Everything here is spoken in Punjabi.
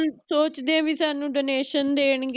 ਉਹ ਸੋਚਦੇ ਆ ਵੀ ਸਾਨੂ ਦੇਣਗੇ